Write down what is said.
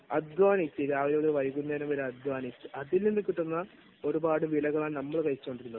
അധ്വാനിക്കുക, രാവിലെ തൊട്ടു വൈകുന്നേരം വരെ അധ്വാനിക്കുക, അതിൽ നിന്ന് കിട്ടുന്ന ഒരുപാട് വിളകളാണ് നമ്മൾ കഴിച്ചുകൊണ്ടിരുന്നത്.